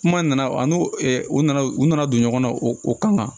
Kuma nana an n'o u nana u nana don ɲɔgɔn na o kama